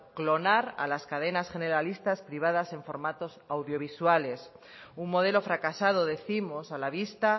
clonar a las cadenas generalistas privadas formadas en audiovisuales un modelo fracasado décimos a la vista